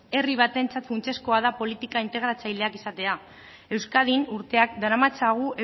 herri batentzat funtsezkoa da politika integratzaileak izatea euskadin urteak daramatzagu